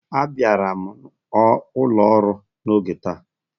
Abịara m ụlọ ọru n'oge taa.